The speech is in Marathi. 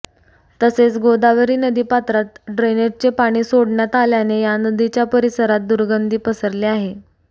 तसेच गोदावरी नदीपात्रात ड्रेनेजचे पाणी सोडण्यात आल्याने या नदीच्या परिसरात दुर्गंधी पसरली आहे